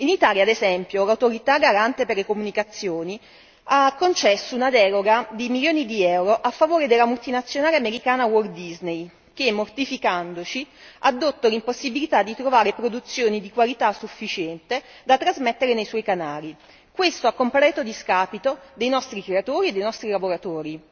In Italia ad esempio l'Autorità garante per le comunicazioni ha concesso una deroga di milioni di euro a favore della multinazionale americana Walt Disney che, mortificandoci, ha addotto l'impossibilità di trovare produzioni di qualità sufficiente da trasmettere nei suoi canali, a completo discapito dei nostri creatori e dei nostri lavoratori.